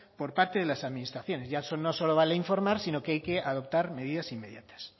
por parte de las administraciones ya no solo vale informar sino que hay que adoptar medidas inmediatas